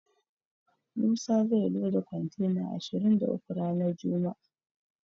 Musa zai loda kontena ashirin da uku ranar juma'a.